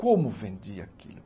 Como vendia aquilo?